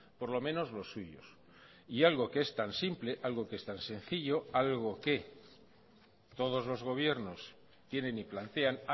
por lo menos los suyos y algo que es tan simple algo que es tan sencillo algo que todos los gobiernos tienen y plantean